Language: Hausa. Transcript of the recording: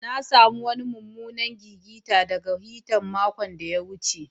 Na samu wanni mumunan gigice daga hitan maokon da ta wuce.